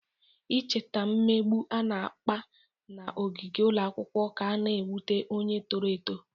Icheta mmegbu a na-akpa n'ogige ụlọ akwụkwọ ka na-ewute onye toro eto.